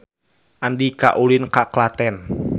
Andika ulin ka Klaten